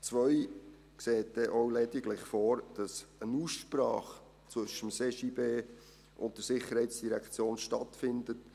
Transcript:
Absatz 2 sieht dann auch lediglich vor, dass eine Aussprache zwischen dem CJB und der SID stattfindet.